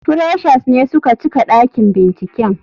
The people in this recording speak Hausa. Freshers ne suka cika dakin binciken.